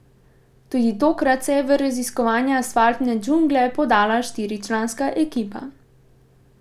Tudi tokrat se je v raziskovanje asfaltne džungle podala štiričlanska ekipa.